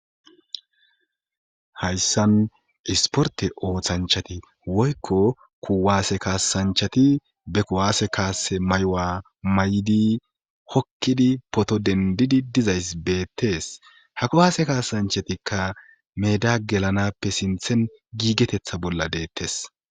Hayssan isporte ooththanchati woykko kuwaase kaasanchati be kowaase kaase maywa may7di hokkidi poto dendidi dizays beettees ha kuwaase kaasanchatikka meda gelanappe sinthen giigetetha bolla deettes.